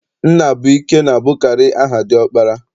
Nnabụike na-abụkarị aha diọkpara.